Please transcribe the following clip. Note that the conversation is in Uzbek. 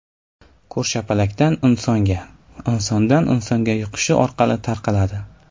Ko‘rshapalakdan insonga, insondan insonga yuqish orqali tarqaladi.